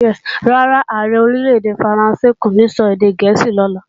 Rárá, Ààrẹ Orílè-èdè Faransé kò ní sọ èdè gẹ̀ẹ́sì lọ́la